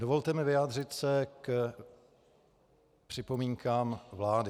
Dovolte mi vyjádřit se k připomínkám vlády.